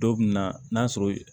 Dɔ bɛ na n'a sɔrɔ